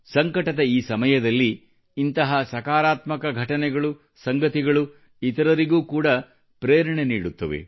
ಸಂಕಟದ ಈ ಸಮಯದಲ್ಲಿ ಇಂತಹ ಸಕಾರಾತ್ಮಕ ಘಟನೆಗಳು ಕಥೆಗಳು ಬೇರೆಯವರಿಗೆ ಕೂಡ ಪ್ರೇರಣೆ ನೀಡುತ್ತದೆ